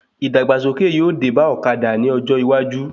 Ìdàgbàsókè yóò dé bá ọ̀kadà ní ọjọ́ iwájú